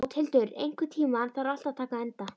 Bóthildur, einhvern tímann þarf allt að taka enda.